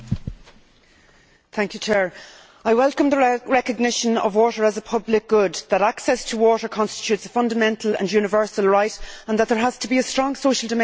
Mr President, I welcome the recognition that water is a public good, that access to water constitutes a fundamental and universal right and that there has to be a strong social dimension to water pricing.